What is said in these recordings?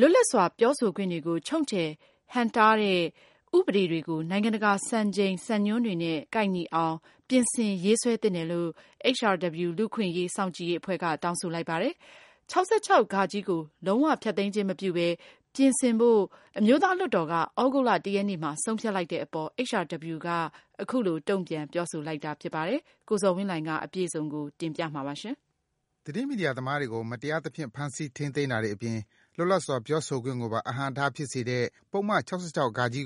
လို လွတ်လပ်စွာ ပြောဆိုခွင့်တွေကို ချုပ်ချယ် ဟန့်တားတဲ့ ဥပဒေတွေကို နိုင်ငံတကာ စံချိန် စံညွှန်းတွေနဲ့ ကိုက်ညီအောင် ပြင်ဆင် ရေးဆွဲသင့်တယ်လို့ HRW လူ့အခွင့်အရေး စောင့်ကြည့်ရေးအဖွဲ့က တောင်းဆိုလိုက်ပါတယ်။ ၆၆(ဃ) ကို လုံး၀ ဖျက်သိမ်းခြင်းမပြုဘဲ ပြင်ဆင်သုံးစွဲဖို့ မြန်မာ အမျိုးသား လွှတ်တော်က သြဂုတ်လ ၁ ရက်နေ့မှာ ဆုံးဖြတ်လိုက်တဲ့ အပေါ် HRW က အခုလို တုန့်ပြန် ပြောဆိုလိုက်တာ ဖြစ်ပါတယ်။ အပြည့်အစုံကိုတော့ ကိုဇော်ဝင်းလှိုင်က တင်ပြပေးပါမယ်။ သတင်းမီဒီယာသမားတွေကို မတရားသဖြင့် ဖမ်းဆီး ထိန်းသိမ်းတာတွေ အပြင် လွတ်လပ်စွာ ပြောဆိုခွင့်ကိုပါ အဟန့်အတား ဖြစ်စေတဲ့ ပုဒ်မ ၆၆(ဃ)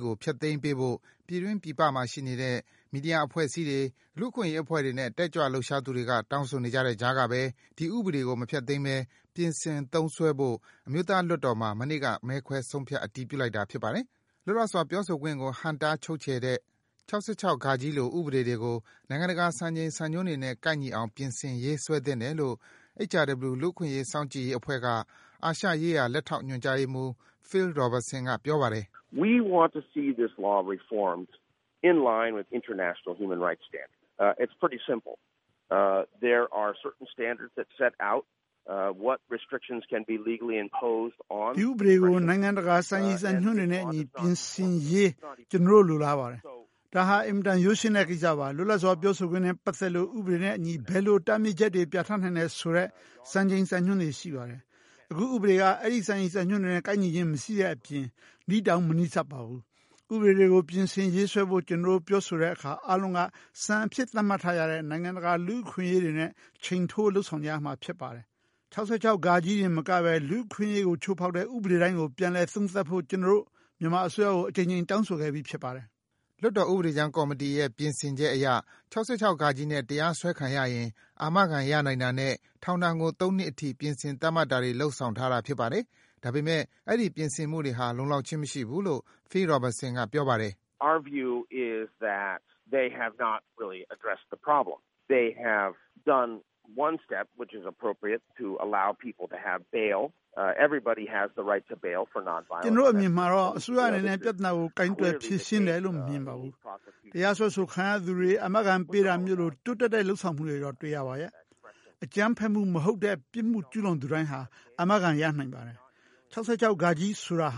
ကို ဖျက်သိမ်းပေးဖို့ ပြည်တွင်း၊ ပြည်ပမှာနေတဲ့ မီဒီယာအဖွဲ့အစည်းတွေ၊ လူ့အခွင့်အရေး အဖွဲ့တွေနဲ့ တက်ကြွ လှုပ်ရှားသူတွေက တောင်းဆိုနေတဲ့ကြားကပဲ ဒီဥပဒေကို မဖျက်သိမ်းဘဲ ပြင်ဆင် သုံးစွဲဖို့ အမျိုးသားလွှတ်တော်မှာ မနေ့က မဲခွဲဆုံးဖြတ် အတည်ပြုလိုက်တာ ဖြစ်ပါတယ်။ လွတ်လပ်စွာ ပြောဆိုခွင့်ကို ဟန့်တား ချုပ်ချယ်တဲ့ ၆၆(ဃ) လို ဥပဒေတွေကို နိုင်ငံတကာ စံချိန် စံညွှန်းတွေနဲ့ ကိုက်ညီအောင် ပြင်ဆင် ရေးဆွဲသင့်တယ်လို့ HRW လူ့အခွင့်အရေး စောင့်ကြည့်ရေး အဖွဲ့က အာရှရေးရာ လက်ထောက်ညွန်ကြားရေးမှူး Phil Robertson က ပြောပါတယ်။ “ ဒီဥပဒေကို နိုင်ငံတကာ စံညွှန်းတွေနဲ့ အညီ ပြင်ဆင်ရေးဖို့ ကျနော်တို့ လိုလားပါတယ်။ ဒါဟာ အင်မတန် ရိုးရှင်းတဲ့ ကိစ္စပါ။ လွတ်လပ်စွာ ပြောဆိုခွင့်နဲ့ ပတ်သက်လို့ ဥပဒေနဲ့အညီ ဘယ်လို တားမြစ်ချက်တွေ ပြဌာန်းနိုင်တယ်ဆိုတဲ့ စံချိန် စံညွှန်းတွေ ရှိပါတယ်။ အခု ဥပဒေက အဲဒီ စံညွှန်းတွေနဲ့ ကိုက်ညီခြင်း မရှိတဲ့အပြင် နီးတောင် မနီးစပ်ပါဘူး။ ဥပဒေတွေကို ပြင်ဆင်ရေးဖွဲဖို့ ကျနော်တို့ ပြောဆိုကြတဲ့အခါ အားလုံးက စံအဖြစ် သတ်မှတ်ထားကြတဲ့ နိုင်ငံတကာ လူ့အခွင့်အရေးတွေနဲ့ ချိန်ထိုး လုပ်ဆောင်ကြရပါတယ်။ ၆၆(ဃ) တင် မကဘဲ လူ့အခွင့်အရေးကို ချိုးဖောက်တဲ့ ဥပဒေတိုင်းကို ပြန်လည် သုံးသပ်ဖို့ ကျနော်တို့ မြန်မာအစိုးရကို အကြိမ်ကြိမ် တောင်းဆိုခဲ့ပြီး ဖြစ်ပါတယ်။” လွှွတ်တော် ဥပဒေကြမ်း ကော်မတီရဲ့ပြင်ဆင်ချက် အရ ၆၆(ဃ) နဲ့ တရားစွဲခံရရင် အာမခံ ရနိုင်တာနဲ့ ထောင်ဒဏ်ကို ၃ နှစ်အထိ ပြင်ဆင် သတ်မှတ်တာတွေ လုပ်ဆောင်ထားတာ ဖြစ်ပါတယ်။ ဒါပေမယ့် အဲဒီ ပြင်ဆင်မှုတွေဟာ လုံလောက်ခြင်း မရှိဘူးလို့ Phil Robertson က ပြောပါတယ်။ “ကျနော်တို့ အမြင်အရကတော့ အစိုးရအနေနဲ့ ပြဿနာကို ကိုင်တွယ် ဖြေရှင်းတယ်လို့ မမြင်ပါဘူး။ တရားစွဲ ခံရသူတွေကို အာမခံ ပေးတာမျိုးလို တိုးတက်တဲ့ လုပ်ဆောင်မှုတော့ တွေ့ရပါတယ်။ အကြမ်းဖက်မှု မဟုတ်တဲ့ ပြစ်မှု ကျူးလွန်သူတိုင်းဟာ အာမခံ ရနိုင်ပါတယ်။ ၆၆(ဃ) ဆိုတာ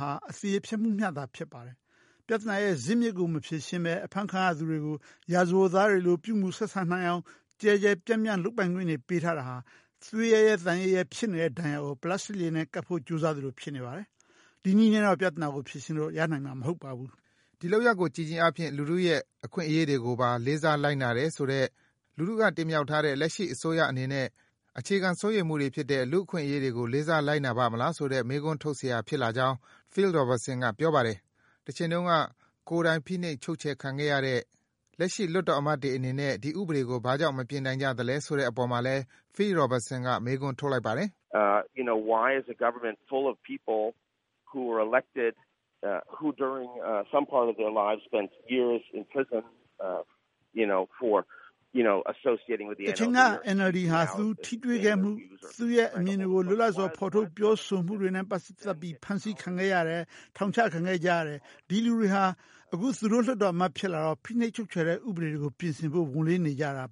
ဟာ အသရေဖျက်မှုသာ ဖြစ်ပါတယ်။ ပြဿနာရဲ့ဇစ်မြစ်ကို မဖြေရှင်းဘဲ အဖမ်းခံရသူတွေကို ရာဇဝတ်သား တွေလို ပြုမူ ဆက်ဆံနိုင်အောင် ကျယ်ပြန့်စွာ လုပ်ပိုင်ခွင့် ပေးထားတာဟာ သွေးသံရဲရဲ ဖြစ်နေတဲ့ ဒဏ်ရာကို ပလပ်စတာနဲ့ ကပ်ဖို့ ကြိုးစားသလို ဖြစ်နေပါတယ်။ ဒီနည်းနဲ့တော့ ပြဿနာကို ဖြေရှင်းလို့ ရနိုင်မှာ မဟုတ်ပါဘူး။” ဒီလုပ်ရပ်ကို ကြည့်ခြင်းအားဖြင့် လူထုရဲ့အခွင့်အရေးတွေကို လေးစားပါတယ်ဆိုတဲ့၊ လူထုက တင်မြှောက်ထားတဲ့ လက်ရှိအစိုးရအနေနဲ့ အခြေခံ စိုးရိမ်မှုတွေဖြစ်တဲ့ လူ့အခွင့်အရေးတွေကို လေးစား လိုက်နာပါ့မလား ဆိုတဲ့ မေးခွန်းထုတ်စရာ ဖြစ်လာကြောင်းလည်း Phil Robertson က ပြောပါတယ်။ တချိန်က ကိုယ်တိုင် ဖိနှိပ် ချုပ်ချယ်ခံခဲ့ရတဲ့ လက်ရှိ လွှတ်တော်အမတ်တွေ အနေနဲ့ ဒီဥပဒေကို ဘာကြောင့် မပြင်နိုင်ကြသလဲ ဆိုတဲ့အပေါ်မှာလည်း Phil Robertson က မေးခွန်း ထုတ်လိုက်ပါတယ်။ “တချိန်က NLD ဟာ သူထိတွေခဲ့မှု၊ ကိုယ့်ရဲ့ အမြင်တွေကို လွတ်လပ်စွာ ထုတ်ဖော် ပြောဆိုမှုတွေနဲ့ ဖမ်းဆီးခံ၊ ထောင်ကျခဲ့ကြတဲ့ သူတွေဟာ သူတို့ လွှတ်တော်အမတ်ဖြစ်လာတော့မှ ဖိနှိပ်ချုပ်ချယ်တဲ့ ဥပဒေတွေကို ပြင်ဆင်ဖို့ ဝန်လေးနေကြတာ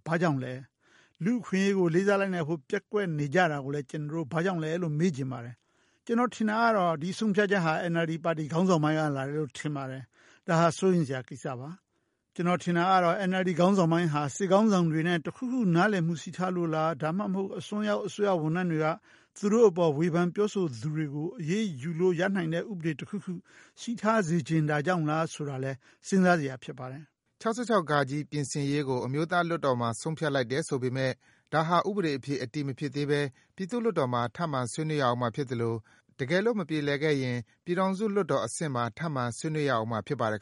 လဲ။ လူ့အခွင့်အရေးကို လေးစားလိုက်နာဖို့ ပျက်ကွက် နေကြတာလဲလို့ ကျနော် မေးချင်ပါတယ်။ ကျနော်ထင်တာကတော့ ဒီဆုံးဖြတ်ချက်ဟာ NLD ပါတီ ခေါင်းဆောင်ပိုင်းက လာတယ်လို့ ထင်ပါတယ်။ ဒါဟာ စိုးရိမ်စရာ ကိစ္စပါ။ ကျနော် ထင်တာကတော့ NLD ခေါင်းဆောင်ပိုင်းဟာ စစ်ခေါင်းဆောင်တွေနဲ့ တခုခု နားလည်မှု ရှိထားလို့လား၊ ဒါမှမဟုတ် အစွန်းရောက် အစိုးရဝန်ထမ်းတွေက သူတို့အပေါ် ဝေဖန် ပြောဆိုသူတွေကို အရေးယူလို့ ရနိုင်တဲ့ ဥပဒေတခုခု ရှိထားစေချင်တာကြောင့်လား ဆိုတာလဲ စဉ်းစားစရာရှိပါတယ်။” ၆၆(ဃ) ပြင်ဆင်ရေးကို အမျိုးသားလွှွတ်တော်မှာ ဆုံးဖြတ်လိုက်တယ် ဆိုပေမယ့်၊ ဒါဟာ ဥပဒေအဖြစ် အတည်မဖြစ်သေးဘဲ ပြည်သူ့ လွှတ်တော်မှာ ထပ်မံဆွေးနွေးရဦးမှာဖြစ်သလို တကယ်လို့ မကြေလည်ခဲ့ရင် ပြည်ထောင်စုလွှတ်တော် အဆင့်မှာ ထပ်မံ ဆွေးနွေးရဦးမှာ ဖြစ်ပါတယ်